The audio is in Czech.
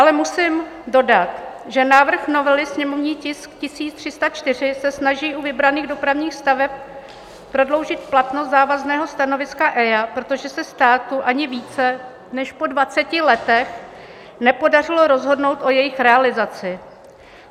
Ale musím dodat, že návrh novely, sněmovní tisk 1304, se snaží u vybraných dopravních staveb prodloužit platnost závazného stanoviska EIA, protože se státu ani více než po 20 letech nepodařilo rozhodnout o jejich realizaci.